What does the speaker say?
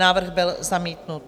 Návrh byl zamítnut.